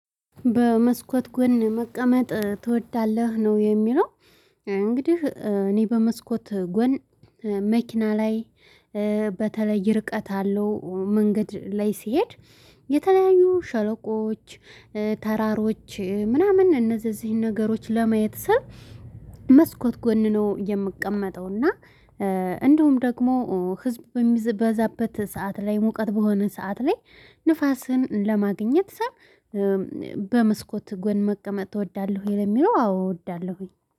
በመስኮት ጎን መቀመጥ ትወዳለህ ነው የሚለው? እንግዲህ እኔ በመስኮት ጎን መኪና ላይ በተለይ ርቀት አለው መንገድ ላይ ሲሄድ የተለያዩ ሸለቆዎች ተራሮች ምናምን እነዚህ እዚህ ነገሮች ለማየት ስል መስኮት ጎን ነው የምቀመጠው። እና እንደውም ደግሞ ህዝብ በሚበዛበት ሰዓት ላይ ሙቀት በሆነ ሰዓት ላይ ንፋስን ለማግኘት ስል በመስኮት ጎን መቀመጥ እወዳለሁ። ወይ ለሚለው አዎ እወዳለሁኝ